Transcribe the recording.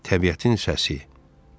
Təbiətin səsi.